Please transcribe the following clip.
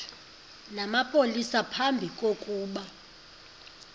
namapolisa phambi kokuba